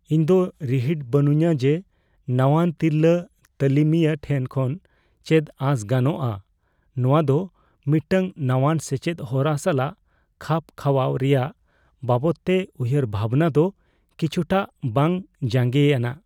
ᱤᱧᱫᱚ ᱨᱤᱦᱤᱴ ᱵᱟᱹᱱᱩᱧᱟ ᱡᱮ ᱱᱟᱣᱟᱱ ᱛᱤᱨᱞᱟᱹ ᱛᱟᱹᱞᱤᱢᱤᱭᱟᱹ ᱴᱷᱮᱱ ᱠᱷᱚᱱ ᱪᱮᱫ ᱟᱥᱚᱜ ᱜᱟᱱᱚᱜᱼᱟ ᱾ᱱᱚᱶᱟ ᱫᱚ ᱢᱤᱫᱴᱟᱝ ᱱᱟᱣᱟᱱ ᱥᱮᱪᱮᱫ ᱦᱚᱨᱟ ᱥᱟᱞᱟᱜ ᱠᱷᱟᱯ ᱠᱷᱟᱣᱟᱣ ᱨᱮᱭᱟᱜ ᱵᱟᱵᱚᱫᱛᱮ ᱩᱭᱦᱟᱹᱨᱵᱷᱟᱵᱱᱟ ᱫᱚ ᱠᱤᱪᱷᱩᱴᱟᱜ ᱵᱟᱝ ᱡᱟᱸᱜᱮᱭᱟᱱᱟᱜ ᱾